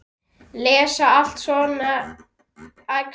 Lesa allt um svona æxli?